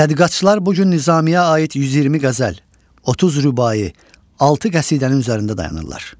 Tədqiqatçılar bu gün Nizami-yə aid 120 qəzəl, 30 rübai, 6 qəsidənin üzərində dayanırlar.